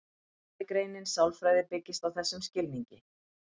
Fræðigreinin sálfræði byggist á þessum skilningi.